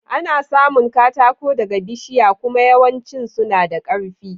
Ana samun katako daga bishiya kuma yawancin suna da karfi.